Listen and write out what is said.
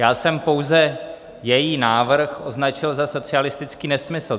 Já jsem pouze její návrh označil za socialistický nesmysl.